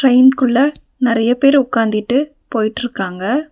ட்ரெயின்குள்ள நெறைய பேர் உக்காந்திட்டு போயிட்ருக்காங்க.